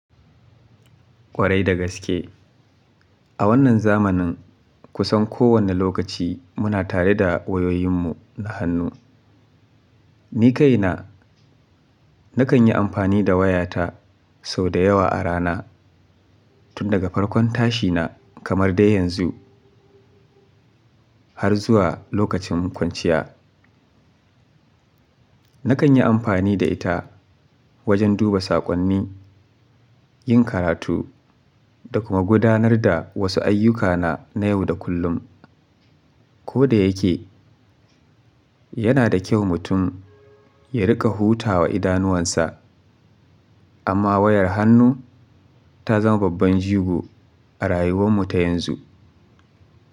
Kwarai da gaske. A wannan zamanin kusan kowane lokaci muna tare da wayoyinmu na hannu. Ni ka ina nakan yi amfani da wayata sau da yawa a rana tun daga farkon tashina kamar dai yanzu har zuwa lokacin kwanciya. Nakan yi amfani da ita wajen duba saƙonni, yin karatu da kuma gudanar da wasu ayyukana na yau da kullum. Ko da yake yana da kyau mutum ya riƙa hutawa idanuwansa amma wayar hannu ta zama babban jigo a rayuwanmu ta yanzu.